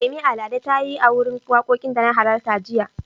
Yemi Alade ta yi a wurin wakokin da na halarta jiya.